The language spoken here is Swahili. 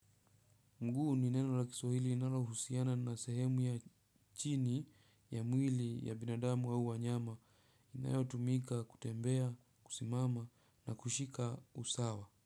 Mguu ni neno la kiswahili inalohusiana na sehemu ya chini ya mwili ya binadamu au wanyama inayotumika kutembea, kusimama na kushika usawa.